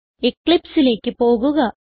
eclipseലേക്ക് പോകുക